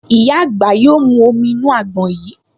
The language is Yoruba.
Ìyá àgbà yóò mú omi inú àgbọn yìí